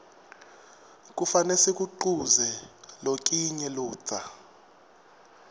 kufane sikuquze lokinye ludca